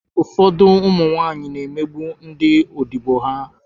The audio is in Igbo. Ụfọdụ ụmụ nwaanyị na-emegbu ndị odibo ha